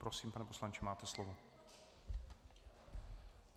Prosím, pane poslanče, máte slovo.